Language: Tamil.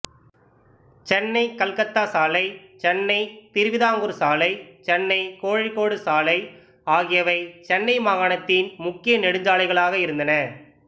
சென்னைகல்கத்தா சாலை சென்னைதிருவிதாங்கூர் சாலை சென்னைகோழிக்கோடு சாலை ஆகியவை சென்னை மாகாணத்தின் முக்கிய நெடுஞ்சாலைகளாக இருந்தன